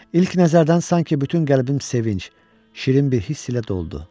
İlk nəzərdən sanki bütün qəlbim sevinc, şirin bir hiss ilə doldu.